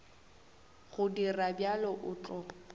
go dira bjalo o tla